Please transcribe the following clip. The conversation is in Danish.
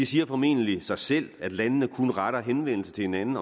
siger formentlig sig selv at landene kun retter henvendelse til hinanden